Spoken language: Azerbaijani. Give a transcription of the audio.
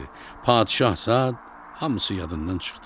Padişahsa hamısı yadından çıxdı.